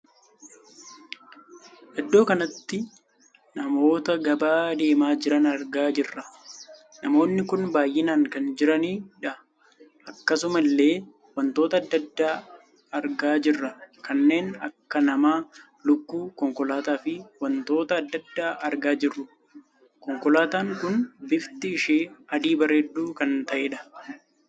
Iddoo kanatti namoota gabaa deemaa jiran argaa jirra. namoonni kun baay'inaan kan jiraniidha. akkasuma illee wantoota addaa addaa argaa jirra. kanneen akka nama, lukkuu, konkolaataa fi wantoota addaa addaa argaa jirru. konkolaataan kun bifti ishee adii bareedduu kan taheedha.